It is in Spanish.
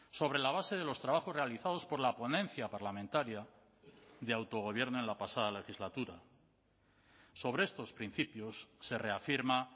sobre la base de los trabajos realizados por la ponencia parlamentaria de autogobierno en la pasada legislatura sobre estos principios se reafirma